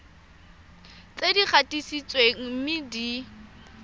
tse di gatisitsweng mme di